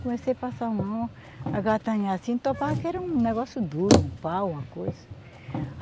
Comecei a passar a mão, a gatanhar assim, topava, que era um negócio duro, um pau, uma coisa.